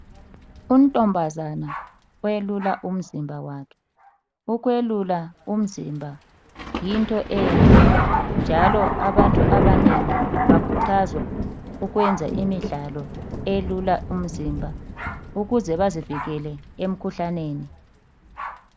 Untombazana welula umzimba wakhe. Ukwelula umzimba yinto enhle njalo abantu abanengi bakhuthazwa ukwenza imidlalo eyelula umzimba ukuze vazivikele emkhuhlaneni.